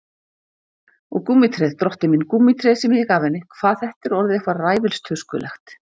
Og gúmmítréð, drottinn minn, gúmmítréð sem ég gaf henni, hvað þetta er orðið eitthvað ræfilstuskulegt.